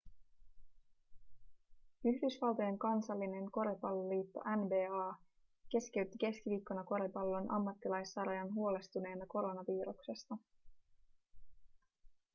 yhdysvaltojen kansallinen koripalloliitto nba keskeytti keskiviikkona koripallon ammattilaissarjan huolestuneena koronaviruksesta